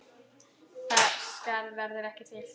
Það skarð verður ekki fyllt.